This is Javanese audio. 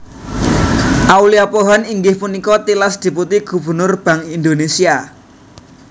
Aulia Pohan inggih punika tilas Deputi Gubernur Bank Indonésia